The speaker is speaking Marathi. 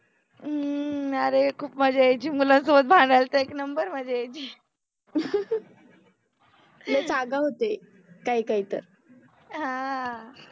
ह्म्म्म, अरे खुप मजा यायचि, मुलांसोबत भांडायला तर एक नम्बर मज्जा यायचि आगाउ होते काहि काहि तर, ह